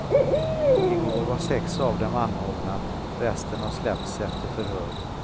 Igår var sex av dem anhållna, resten har släppts efter förhör.